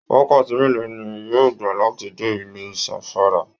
Wakati mélòó ni yóò gbà láti dé ilú Zamfara?